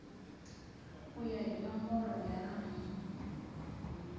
ku ya hi nomboro ya